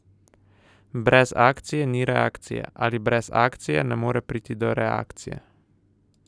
Brez akcije ni reakcije, ali brez akcije ne more priti do reakcije?